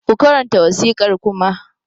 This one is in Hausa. Ku karanta wasiƙar Kuma!